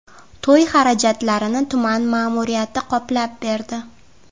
To‘y xarajatlarini tuman ma’muriyati qoplab berdi.